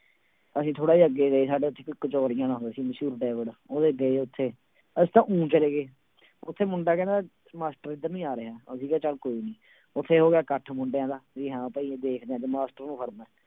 ਅਸੀਂ ਥੋੜ੍ਹਾ ਜਿਹਾ ਅੱਗੇ ਗਏ ਸਾਡੇ ਉੱਥੇ ਕਚੋਰੀਆਂ ਦਾ ਹੁੰਦਾ ਸੀ ਮਸ਼ਹੂਰ ਉਹਦੇ ਗਏ ਉੱਥੇ, ਅਸੀਂ ਤਾਂ ਊਂ ਚਲੇ ਗਏ ਉੱਥੇ ਮੁੰਡਾ ਕਹਿੰਦਾ ਮਾਸਟਰ ਇੱਧਰ ਨੂੰ ਹੀ ਆ ਰਿਹਾ, ਅਸੀਂ ਕਿਹਾ ਚੱਲ ਕੋਈ ਨੀ ਉੱਥੇ ਹੋ ਗਿਆ ਇਕੱਠ ਮੁੰਡਿਆਂ ਦਾ ਵੀ ਹਾਂ ਭਾਈ ਦੇਖਦੇ ਹਾਂ ਅੱਜ ਮਾਸਟਰ ਨੂੰ ਫੜਨਾ ਹੈ।